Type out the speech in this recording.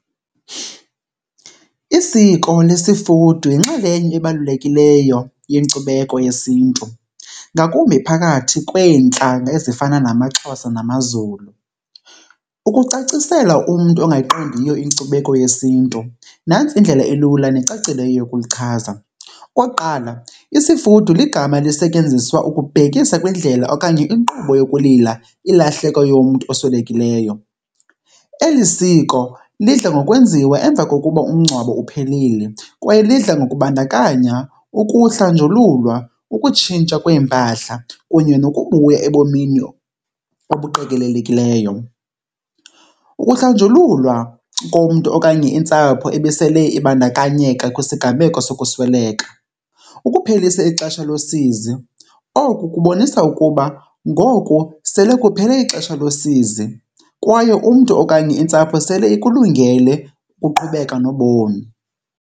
Isiko lesifudu yinxalenye ebalulekileyo yenkcubeko yesiNtu, ngakumbi phakathi kweentlanga ezifana namaXhosa namaZulu. Ukucacisela umntu ongayiqondiyo inkcubeko yesiNtu, nantsi indlela ilula necacileyo yokulichaza. Okokuqala, isifudu ligama elisetyenziswa ukubhekisa kwindlela okanye kwinkqubo yokulila ilahleko yomntu oswelekileyo. Eli siko lidla ngokwenziwa emva kokuba umngcwabo uphelile kwaye lidla ngokubandakanya ukuhlanjululwa, ukutshintsha kweempahla kunye nokubuya ebomini obuqekelelekileyo. Ukuhlanjululwa komntu okanye intsapho ebesele ibandakanyeka kwisiganeko sokusweleka ukuphelisa ixesha losizi. Oku kubonisa ukuba ngoku sele kuphele ixesha losizi kwaye umntu okanye intsapho sele ikulungele ukuqhubeka nobomi.